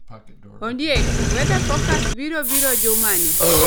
Ondiek weather forecast biro biro jumani